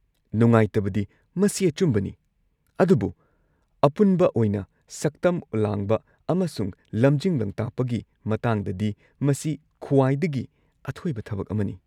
ꯅꯨꯡꯉꯥꯏꯇꯕꯗꯤ, ꯃꯁꯤ ꯑꯆꯨꯝꯕꯅꯤ, ꯑꯗꯨꯕꯨ ꯑꯄꯨꯟꯕ ꯑꯣꯏꯅ ꯁꯛꯇꯝ ꯂꯥꯡꯕ ꯑꯃꯁꯨꯡ ꯂꯝꯖꯤꯡ-ꯂꯝꯇꯥꯛꯄꯒꯤ ꯃꯇꯥꯡꯗꯗꯤ, ꯃꯁꯤ ꯈ꯭ꯋꯥꯏꯗꯒꯤ ꯑꯊꯣꯏꯕ ꯊꯕꯛ ꯑꯃꯅꯤ꯫